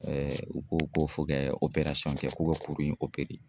u ko ko fo kɛ kɛ k'u ka kuru in